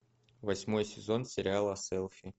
восьмой сезон сериала селфи